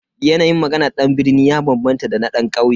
Yanayin maganan dan birni ya bambanta da dan kauye.